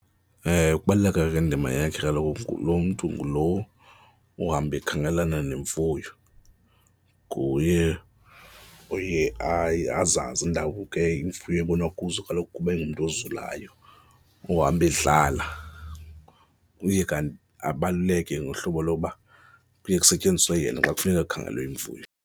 Ewe, ukubaluleka kwendima yakhe kaloku lo mntu ngulo uhamba ekhangelana nemfuyo, nguye oye azazi iindawo ke imfuyo ebonwa kuzo kaloku kuba engumntu ozulayo, ohamba edlala. Uye kanti abaluleke ngohlobo loba kuye kusetyenziswe yena xa kufuneka kukhangelwe imfuyo.